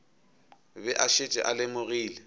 be a šetše a lemogile